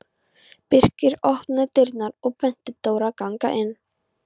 Birkir opnaði dyrnar og benti Dóru að ganga inn.